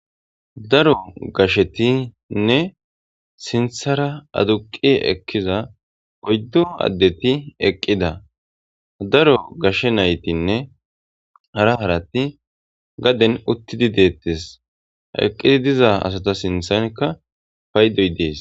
Daro gashshettinne sinththara aduqqi eqqiza oyddu addetti eqqida. Daro gashshe nayttinne hara haratti gaden uttidi dettes.eqqidi diza asatti sinththanikka payddoy de'es .